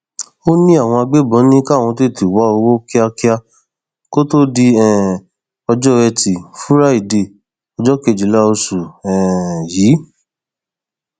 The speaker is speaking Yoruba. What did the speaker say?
ó ní àwọn agbébọn ní káwọn tètè wá owó kíákíá kó tóó di um ọjọ etí furadé ọjọ kejìlá oṣù um yìí